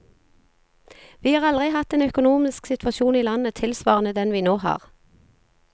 Vi har aldri hatt en økonomisk situasjon i landet tilsvarende den vi nå har.